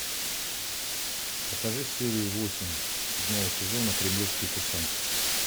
покажи серию восемь седьмого сезона кремлевские курсанты